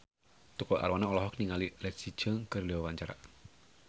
Tukul Arwana olohok ningali Leslie Cheung keur diwawancara